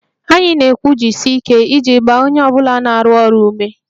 Anyị na-ekwu 'jisie ike' iji gbaa onye ọ bụla na-arụ ọrụ ume